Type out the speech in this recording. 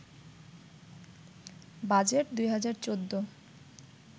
budget ২০১৪